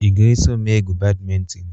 Ị ga-eso m egwu badminton?